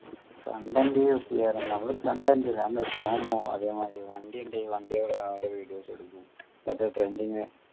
content use ചെയ്യാറ് നമ്മള് content അല്ല നമ്മള് song ഓ അതേമാതിരി വണ്ടി ഉണ്ടെങ്കി വണ്ടികള് videos എടുക്കും മറ്റേ trending